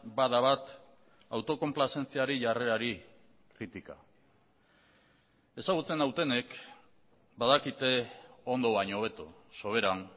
bada bat autokonplazentziari jarrerari kritika ezagutzen nautenek badakite ondo baino hobeto soberan